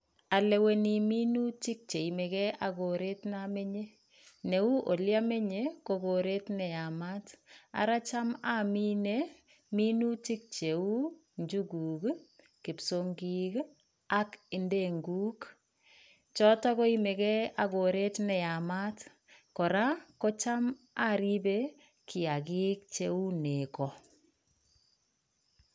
Aleweni minutik cheimege akoret neamenye neu oliamenye kokoret neamat ara cham aminee minutik cheu njuguk, kipsong'ik ak ndenguk choto koimege ak koret neyamat kora kocham aripe kiagik cheu nego